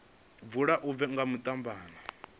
vula u bva nga mathabama